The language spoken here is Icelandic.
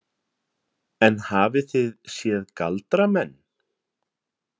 En hafið þið séð galdramenn?